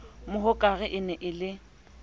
mohokare e ne e le